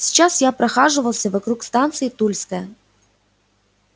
сейчас я прохаживался вокруг станции тульская